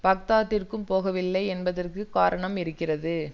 பாக்தாதிற்குப் போகவில்லை என்பதற்கு காரணம் இருக்கிறது